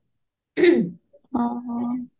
ହଁ ହଁ